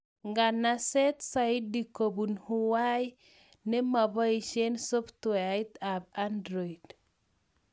Nganseet zaidi kobun huawei ne mapoishee softweait ab android